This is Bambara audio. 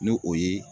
N'o ye